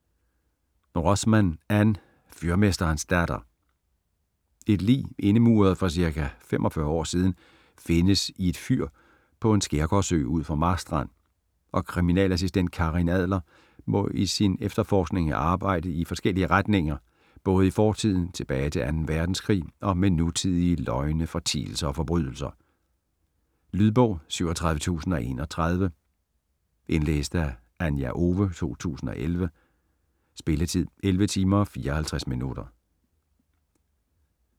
Rosman, Ann: Fyrmesterens datter Et lig indemuret for ca. 45 år siden findes i et fyr på en skærgårdsø ud for Marstrand, og kriminalassistent Karin Adler må i sin efterforskning arbejde i forskellige retninger både i fortiden tilbage til 2. verdenskrig og med nutidige løgne, fortielser og forbrydelser. Lydbog 37031 Indlæst af Anja Owe, 2011. Spilletid: 11 timer, 54 minutter.